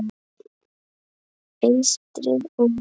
Eystri- og